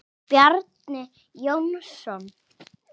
Bjarni Jónsson